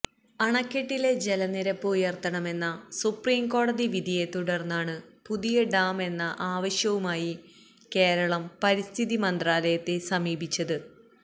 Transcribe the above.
അണക്കെട്ടിലെ ജലനിരപ്പ് ഉയർത്താമെന്ന സുപ്രീംകോടതി വിധിയെ തുടർന്നാണ് പുതിയ ഡാം എന്ന ആവശ്യവുമായി കേരളം പരിസ്ഥിതി മന്ത്രാലയത്തെ സമീപിച്ചത്